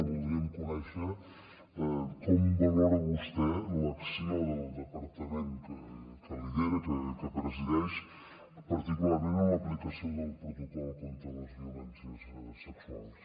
voldríem conèixer com valora vostè l’acció del departament que lidera que presideix particularment en l’aplicació del protocol contra les violències sexuals